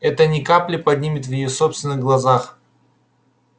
это ни капли не поднимет его в собственных глазах